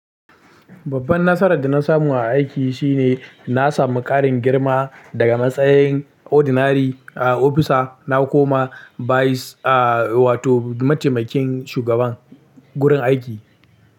Babban nasarar da na samu a aiki shine na samu ƙarin girma daga matsayin ordinary a officer. Na koma vice wato mataimakin shugaban gurin aiki.